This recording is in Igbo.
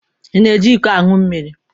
Ị na-eji iko aṅụ mmiri?